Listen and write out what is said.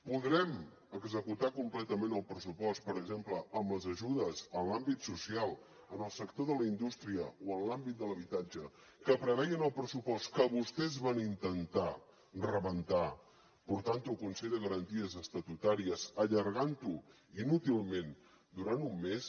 podrem executar completament el pressupost per exemple amb les ajudes en l’àmbit social en el sector de la indústria o en l’àmbit de l’habitatge que preveien el pressupost que vostès van intentar rebentar portant ho al consell de garanties estatutàries allargant ho inútilment durant un mes